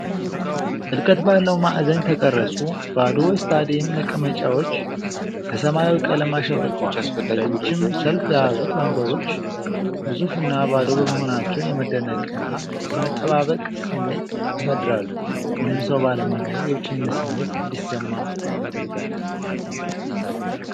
ጥልቀት ባለው ማዕዘን የተቀረጹ ባዶ የስታዲየም መቀመጫዎች በሰማያዊ ቀለም አሸብርቀዋል። ረጅም ሰልፍ የያዙት ወንበሮች ግዙፍና ባዶ በመሆናቸው የመደነቅና የመጠባበቅ ስሜት ያሳድራሉ። ምንም ሰው ባለመኖሩ የብቸኝነት ስሜት እንዲሰማ ያደርጋል።